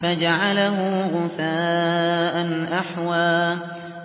فَجَعَلَهُ غُثَاءً أَحْوَىٰ